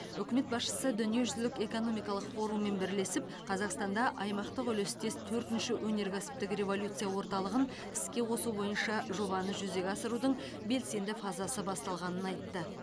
үкімет басшысы дүниежүзілік экономикалық форуммен бірлесіп қазақстанда аймақтық үлестес төртінші өнеркәсіптік революция орталығын іске қосу бойынша жобаны жүзеге асырудың белсенді фазасы басталғанын айтты